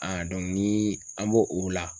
ni an b'o o la